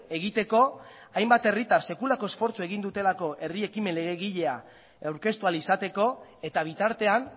egiteko hainbat herritan sekulako esfortzua egin dutelako herri ekimen legegilea aurkeztu ahal izateko eta bitartean